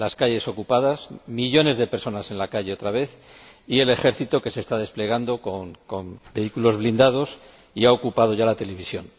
Las calles, ocupadas, millones de personas en la calle otra vez y el ejército, que se está desplegando con vehículos blindados y ha ocupado ya la televisión.